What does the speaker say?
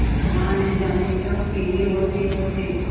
माँ न जाने क्यों पीली होतीहोती